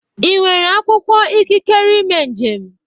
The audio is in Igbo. Ị nwere akwụkwọ ikikere ime njem?